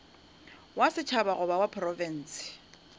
wa setšhaba goba wa profense